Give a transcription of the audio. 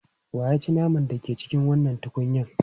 Wa ya ci naman da ke cikin wannan tukunyan?